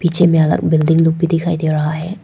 नीचे में अलग बिल्डिंग भी दिखाई दे रहा है।